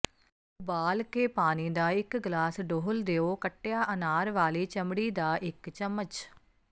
ਉਬਾਲ ਕੇ ਪਾਣੀ ਦਾ ਇੱਕ ਗਲਾਸ ਡੋਲ੍ਹ ਦਿਓ ਕੱਟਿਆ ਅਨਾਰ ਵਾਲੀ ਚਮੜੀ ਦਾ ਇੱਕ ਚਮਚ